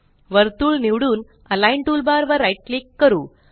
वर्तुळ निवडूनAlign टूलबार वर राईट क्लिक करू